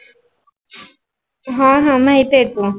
ह ह माहीती अहेत.